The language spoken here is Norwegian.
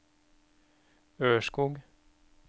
Ørskog